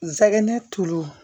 Nsɛgɛn tulu